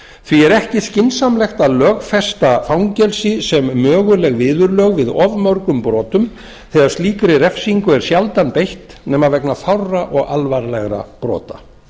því er ekki skynsamlegt að lögfesta fangelsi sem möguleg viðurlög við og mörgum brotum þegar slíkri refsingu er sjaldan beitt nema vegna fárra og alvarlegra brota